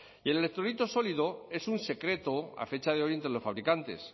y el electrolito sólido es un secreto a fecha de hoy entre los fabricantes